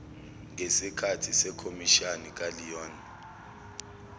ngesikahthi sekhomishani kaleon